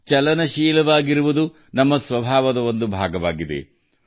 ಅದು ಚಲನಶೀಲವಾಗಿರುವಂತಹದು ಮತ್ತು ಸದಾ ಚಲಿಸುತ್ತಿರುವಂತಹದ್ದು